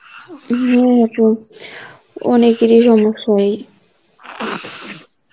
হ্যাঁ আপু, অনেকের ই সমস্যা এই